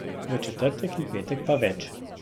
V četrtek in petek pa več.